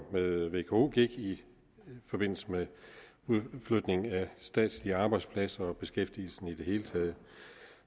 med vko gik i forbindelse med udflytning af statslige arbejdspladser og med beskæftigelsen i det hele taget